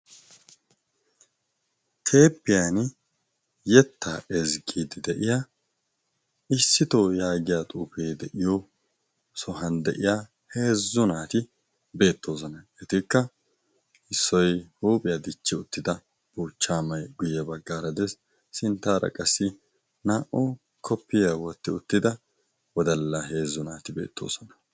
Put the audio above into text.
Teeppiyan yettaa ezggiidd de'iya issitoo yaagiya xuufee de'iyo sohan de'iya heezzu naati beettoosona etikka issoi huuphiyaa dichchi uttida buuchchaamay guyye baggaaradees sinttaara qassi naa"u koppiyaa wotti uttida wodallaa heezzu naati beettoosona.